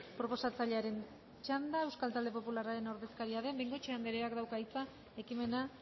proposatzailearen txanda euskal talde popularraren ordezkaria den bengoetxea andreak dauka hitza ekimena